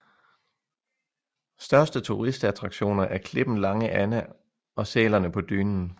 Største turistattraktioner er klippen Lange Anna og sælerne på Dynen